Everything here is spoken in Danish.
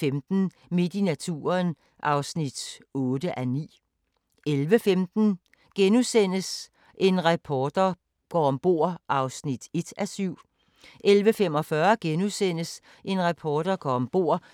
23:35: Terror 01:00: Boko Haram – Ondskabens udspring * 01:55: 40 dage på Mount Everest 02:50: Deadline Nat